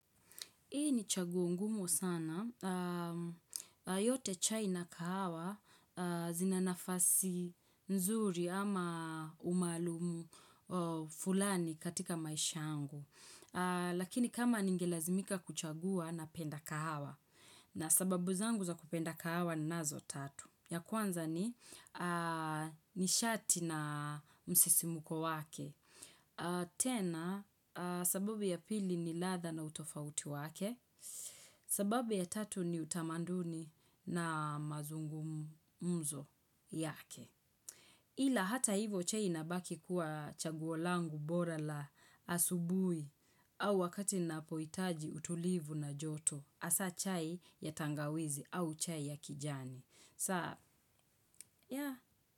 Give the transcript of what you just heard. Hii ni chaguo ngumu sana, yote chai na kahawa zina nafasi nzuri ama umaalumu fulani katika maisha yangu. Lakini kama ningelazimika kuchagua napenda kahawa, na sababu zangu za kupenda kahawa ninazo tatu. Ya kwanza ni, ni shati na msisimuko wake. Tena sababu ya pili ni ladha na utofauti wake. Sababu ya tatu ni tamaduni na mazungumzo yake ila hata hivyo chai inabaki kuwa chaguo langu bora la asubuhi. Au wakati napohitaji utulivu na joto hasa chai ya tangawizi au chai ya kijani saa ya.